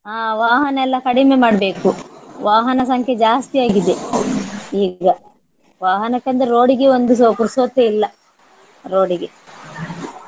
ಆ ವಾಹನ ಎಲ್ಲ ಕಡಿಮೆ ಮಾಡ್ಬೇಕು ವಾಹನ ಸಂಖ್ಯೆ ಜಾಸ್ತಿ ಆಗಿದೆ ಈಗ. ವಾಹನಕ್ಕೆ ಅಂದರೆ road ಗೆ ಒಂದುಸ ಪುರ್ಸೊತ್ತೇ ಇಲ್ಲ road ಗೆ .